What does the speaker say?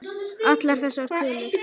Allar þessar tölur.